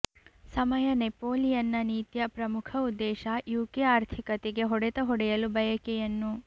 ಸಮಯ ನೆಪೋಲಿಯನ್ನ ನೀತಿಯ ಪ್ರಮುಖ ಉದ್ದೇಶ ಯುಕೆ ಆರ್ಥಿಕತೆಗೆ ಹೊಡೆತ ಹೊಡೆಯಲು ಬಯಕೆಯನ್ನು